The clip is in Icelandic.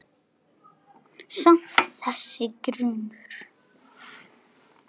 Samt- þessi grunur.